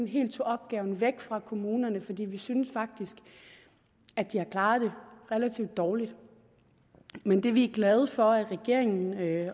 helt tog opgaven væk fra kommunerne fordi vi synes faktisk at de har klaret det relativt dårligt men det vi er glade for at regeringen